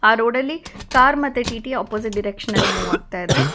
ಆ ರೋಡಲ್ಲಿ ಕಾರ್ ಮತ್ತೆ ಟಿ_ಟಿ ಅಪೋಸಿಟ್ ಡೈರೆಕ್ಷನ್ ನಲ್ಲಿ ಮೂವ್ ಆಗ್ತಾಇದೆ.